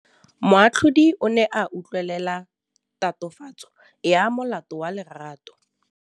Moatlhodi o ne a utlwelela tatofatsô ya molato wa Lerato.